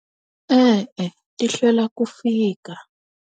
E-e ti hlwela ku fika.